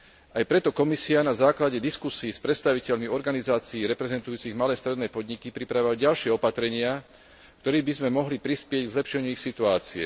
Aj preto Komisia na základe diskusií s predstaviteľmi organizácií reprezentujúcich malé a stredné podniky pripravila ďalšie opatrenia, ktorými by sme mohli prispieť k zlepšeniu ich situácie.